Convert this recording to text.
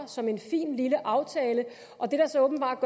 som en fin lille aftale og det der så åbenbart